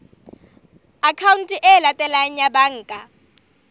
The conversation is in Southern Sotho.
akhaonteng e latelang ya banka